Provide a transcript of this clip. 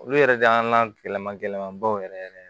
Olu yɛrɛ de y'an gɛlɛma gɛlɛyabaw yɛrɛ yɛrɛ